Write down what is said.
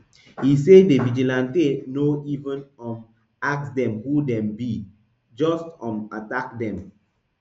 e say di vigilante no even um ask dem who dem be dem just um attack dem